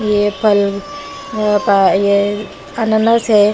ये फल ये अनानस है।